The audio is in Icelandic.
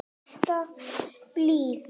Alltaf blíð.